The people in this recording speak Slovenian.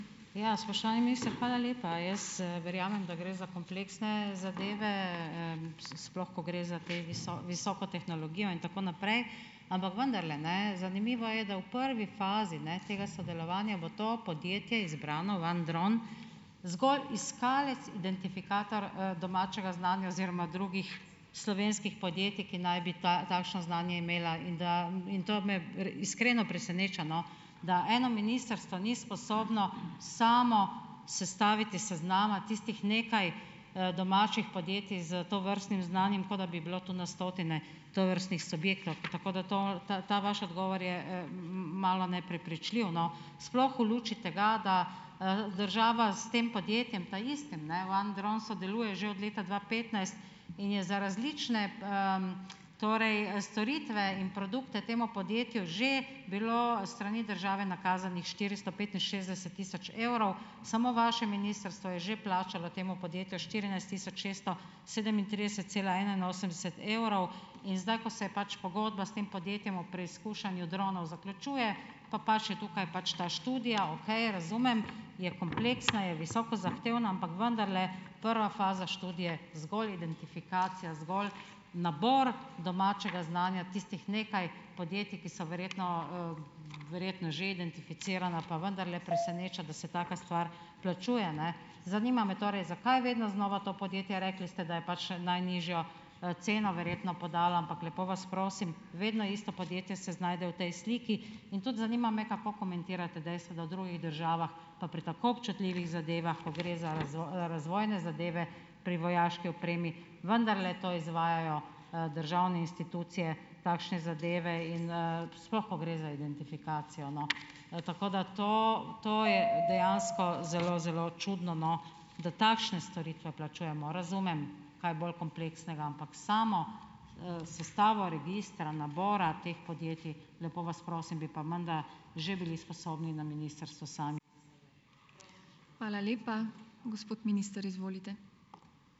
Ja. Spoštovani minister, hvala lepa. Jaz, verjamem, da gre za kompleksne zadeve, sploh, ko gre za te visoko tehnologijo in tako naprej, ampak vendarle, ne, zanimivo je, da v prvi fazi, ne, tega sodelovanja bo to podjetje izbrano OneDrone zgolj iskalec identifikator, domačega znanja oziroma drugih slovenskih podjetij, ki naj bi takšno znanje imela. In da, in to me iskreno preseneča, no, da eno ministrstvo ni sposobno samo sestaviti seznama tistih nekaj, domačih podjetij s tovrstnim znanjem, kot da bi bilo to na stotine tovrstnih subjektov. Tako da to, ta ta vaš odgovor je, malo neprepričljiv, no, sploh v luči tega, da, država s tem podjetjem taistim, ne, OneDrone sodeluje že od leta dva petnajst in je za različne, torej storitve in produkte temu podjetju že bilo s strani države nakazanih štiristo petinšestdeset tisoč evrov, samo vaše ministrstvo je že plačalo temu podjetju štirinajst tisoč šeststo sedemintrideset cela enainosemdeset evrov. In zdaj, ko se je pač pogodba s tem podjetjem o preizkušanju dronov zaključuje, pa paše tukaj pač ta študija, okej, razumem, je kompleksna, je visoko zahtevna, ampak vendarle prva faza študije je zgolj identifikacija, zgolj nabor domačega znanja tistih nekaj podjetij, ki so verjetno, verjetno že identificirana, pa vendarle preseneča, da se taka stvar plačuje. Ne. Zanima me torej, zakaj vedno znova to podjetje. Rekli ste, da je pač najnižjo, ceno verjetno podala, ampak lepo vas prosim, vedno isto podjetje se znajde v tej sliki. In tudi zanima me, kako komentirate dejstvo, da v drugih državah pa pri tako občutljivih zadevah, ko gre za razvojne zadeve pri vojaški opremi, vendarle to izvajajo, državne institucije takšne zadeve in, sploh ko gre za identifikacijo? No, tako da to to je dejansko zelo zelo čudno, no, da takšne storitve plačujemo. Razumem kaj bolj kompleksnega, ampak samo, sestavo registra, nabora teh podjetij, lepo vas prosim, bi pa menda že bili sposobni na ministrstvu sami.